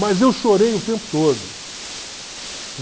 Mas eu chorei o tempo todo.